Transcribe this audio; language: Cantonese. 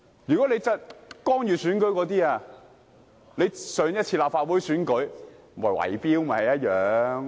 如果說干預選舉，上次立法會選舉不是圍標嗎？